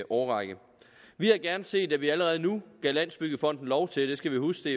årrække vi havde gerne set at vi allerede nu gav landsbyggefonden lov til vi skal jo huske